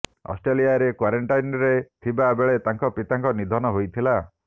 ଅଷ୍ଟ୍ରେଲିଆରେ କ୍ବାରେଣ୍ଟାଇନ୍ରେ ଥିବା ବେଳେ ତାଙ୍କ ପିତାଙ୍କ ନିଧନ ହୋଇଥିଲା